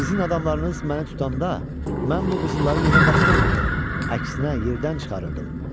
Sizin adamlarınız məni tutanda mən bu qızılları yerə basdırmırdım, əksinə yerdən çıxarırdım.